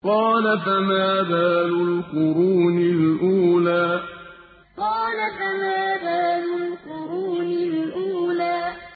قَالَ فَمَا بَالُ الْقُرُونِ الْأُولَىٰ قَالَ فَمَا بَالُ الْقُرُونِ الْأُولَىٰ